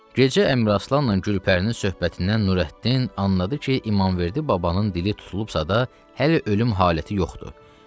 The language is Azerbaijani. Gecə Əmraslanla Gülpərinin söhbətindən Nurəddin anladı ki, İmamverdi babanın dili tutulubsa da hələ ölüm haləti yoxdur.